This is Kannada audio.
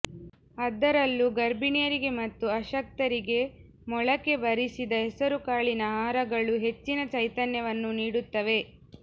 ಅದರಲ್ಲೂ ಗರ್ಭಿಣಿಯರಿಗೆ ಮತ್ತು ಅಶಕ್ತರಿಗೆ ಮೊಳಕೆ ಬರಿಸಿದ ಹೆಸರುಕಾಳಿನ ಆಹಾರಗಳು ಹೆಚ್ಚಿನ ಚೈತನ್ಯವನ್ನು ನೀಡುತ್ತವೆ